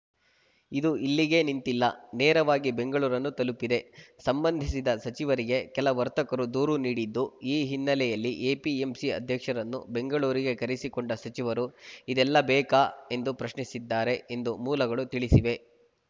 ಇದು ಇಲ್ಲಿಗೇ ನಿಂತಿಲ್ಲ ನೇರವಾಗಿ ಬೆಂಗಳೂರನ್ನು ತಲುಪಿದೆ ಸಂಬಂಧಿಸಿದ ಸಚಿವರಿಗೆ ಕೆಲ ವರ್ತಕರು ದೂರು ನೀಡಿದ್ದು ಈ ಹಿನ್ನೆಲೆಯಲ್ಲಿ ಎಪಿಎಂಸಿ ಅಧ್ಯಕ್ಷರನ್ನು ಬೆಂಗಳೂರಿಗೆ ಕರೆಸಿಕೊಂಡ ಸಚಿವರು ಇದೆಲ್ಲ ಬೇಕಾ ಎಂದು ಪ್ರಶ್ನಿಸಿದ್ದಾರೆ ಎಂದು ಮೂಲಗಳು ತಿಳಿಸಿವೆ